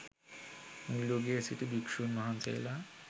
මුල් යුගයේ සිටි භික්‍ෂූන් වහන්සේලා